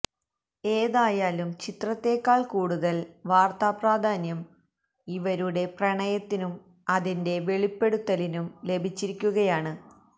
ഏതായാലും ചിത്രത്തേക്കാള് കൂടുതല് വാര്ത്താപ്രാധാന്യം ഇവരുടെ പ്രണയത്തിനും അതിന്റെ വെളിപ്പെടുത്തലിനും ലഭിച്ചിരിക്കുകയാണ്